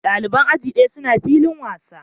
Dalibai ajin ɗaya suna filin wasa.